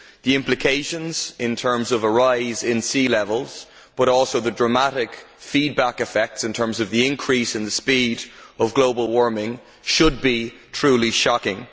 The implications in terms of a rise in sea levels, but also the dramatic feedback effects in terms of the increase in the speed of global warming, should be truly shocking.